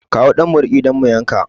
Kamo ɗan maraƙi don mu yanka